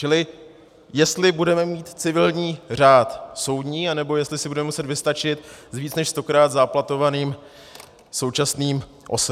Čili jestli budeme mít civilní řád soudní, nebo jestli si budeme muset vystačit s více než stokrát záplatovaným současným OSŘ.